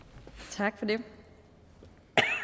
tak til